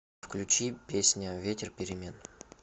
включи песня ветер перемен